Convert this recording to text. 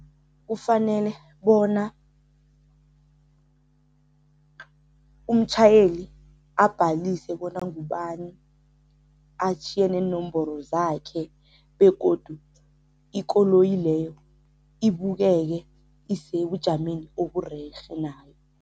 Kufanele bona umtjhayeli abhalise bona ngubani, atjhiye neenomboro zakhe begodu ikoloyi leyo ibukeke isebujameni oburerhe nayo.